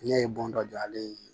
Ne ye bon dɔ jɔ ale ye